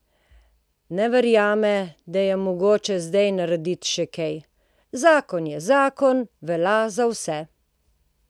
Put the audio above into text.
Ne verjame, da je mogoče zdaj narediti še kaj: "Zakon je zakon, velja za vse.